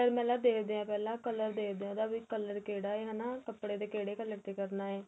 ਮੈਲਾ ਦੇਖਦੇ ਹੈ ਪਹਿਲਾਂ colour ਦੇਖਦੇ ਹੈ ਉਹਦਾ colour ਕਿਹੜਾ ਏ ਹੈਨਾ ਕੱਪੜੇ ਦੇ ਕਿਹੜੇ color ਤੇ ਕਰਨਾ ਹੈ